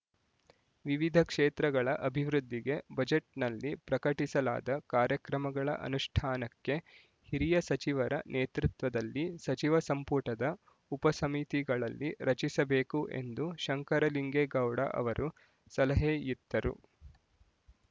ವಿವಿಧ ಕ್ಷೇತ್ರಗಳ ಅಭಿವೃದ್ಧಿಗೆ ಬಜೆಟ್‌ನಲ್ಲಿ ಪ್ರಕಟಿಸಲಾದ ಕಾರ್ಯಕ್ರಮಗಳ ಅನುಷ್ಠಾನಕ್ಕೆ ಹಿರಿಯ ಸಚಿವರ ನೇತೃತ್ವದಲ್ಲಿ ಸಚಿವ ಸಂಪುಟದ ಉಪಸಮಿತಿಗಳನ್ನು ರಚಿಸಬೇಕು ಎಂದು ಶಂಕರಲಿಂಗೇಗೌಡ ಅವರು ಸಲಹೆಯಿತ್ತರು